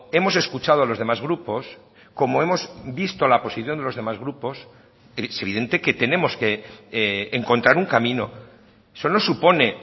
hemos escuchado a los demás grupos como hemos visto la posición de los demás grupos es evidente que tenemos que encontrar un camino eso no supone